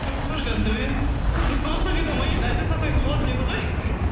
оой жандаурен қызды сонша қинамай енді айта салсаңыз болатын еді ғой